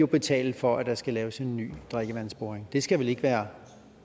betale for at der skal laves en ny drikkevandsboring det skal vel ikke være